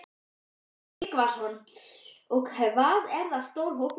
Sölvi Tryggvason: Og hvað er það stór hópur?